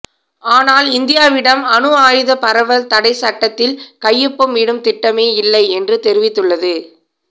ஆனால் இந்தியாவிடம் அணு ஆயுத பரவல் தடைச் சட்டத்தில் கையொப்பம் இடும் திட்டமே இல்லை என்று தெரிவித்துள்ளது